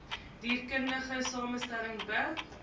dierkundige samestelling be